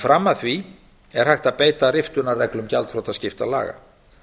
fram að því er hægt að beita riftunarreglum gjaldþrotaskiptalaga